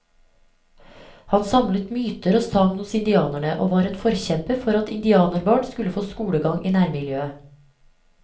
Han samlet myter og sagn hos indianerne, og var en forkjemper for at indianerbarn skulle få skolegang i nærmiljøet.